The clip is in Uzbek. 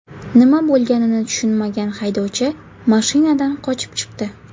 Nima bo‘lganini tushunmagan haydovchi mashinadan qochib chiqdi.